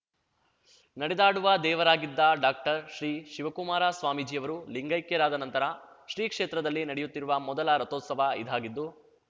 ನಡೆದಾಡುವ ದೇವರಾಗಿದ್ದ ಡಾಕ್ಟರ್ ಶ್ರೀ ಶಿವಕುಮಾರ ಸ್ವಾಮೀಜಿಯವರು ಲಿಂಗೈಕ್ಯರಾದ ನಂತರ ಶ್ರೀಕ್ಷೇತ್ರದಲ್ಲಿ ನಡೆಯುತ್ತಿರುವ ಮೊದಲ ರಥೋತ್ಸವ ಇದಾಗಿದ್ದು